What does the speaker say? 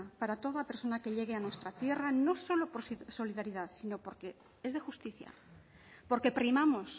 para toda persona que llegue a nuestra tierra no solo por ser solidaridad sino porque es de justicia porque primamos